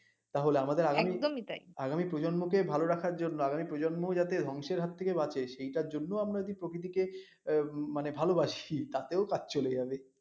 তাহলে আমাদের আগামী প্রজন্ম কে ভাল রাখার জন্য আগামী প্রজন্ম যাতে ধ্বংসের হাত থেকে বাঁচে সেটার জন্য আমরা প্রকৃতি কে ভালবাসি তাতেও কাজ চলে যাবে